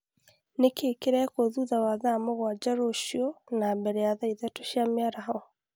Nĩ kĩĩ kĩrekwo thutha wa thaa mũgwanja rũciũ na mbere ya thaa ithatũ cia mĩaraho